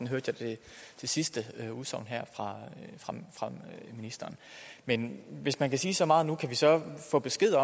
hørte jeg det sidste udsagn her fra ministeren men hvis man kan sige så meget nu kan vi så få besked